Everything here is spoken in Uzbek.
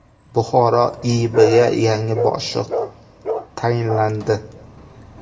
Buxoro IIBga yangi boshliq tayinlandi.